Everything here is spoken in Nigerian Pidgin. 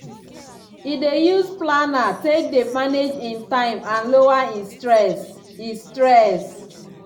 e dey use planner take dey manage e time and lower e stress. e stress.